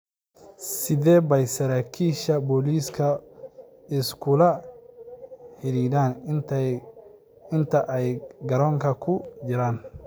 Sidee bay saraakiisha booliisku is kula xidhiidhaan inta ay garoonka ku jiraan?